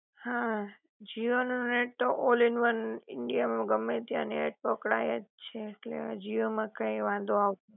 હા જીઓ નું નેટ તો ઓલ ઈન વન ઈન્ડિયા માં ગમે ત્યાં નેટ પકડાય જ છે, ઍટલે જીઓ માં કાઇ વાંધો આવ